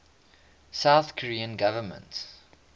south korean government